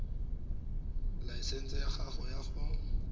laesense ya gago ya go